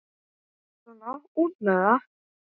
Svona út með það.